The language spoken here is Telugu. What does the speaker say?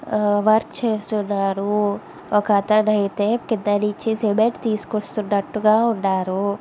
ఆ ఆ వర్క్ చేస్తున్నారు. ఒకతను అయితే కింద నుంచి సిమెంటు తీసుకొస్తునట్టుగా ఉన్నారు.